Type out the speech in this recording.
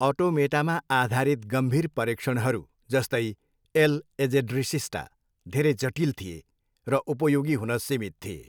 अटोमेटामा आधारित गम्भीर परीक्षणहरू, जस्तै, एल एजेड्रेसिस्टा, धेरै जटिल थिए र उपयोगी हुन सीमित थिए।